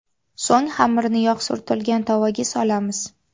So‘ng xamirni yog‘ surtilgan tovaga solamiz.